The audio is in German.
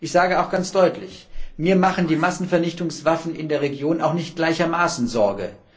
Ich sage ganz deutlich Mir machen die Massenvernichtungswaffen in der Region auch nicht gleichermaßen Sorge.